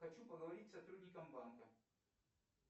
хочу поговорить с сотрудником банка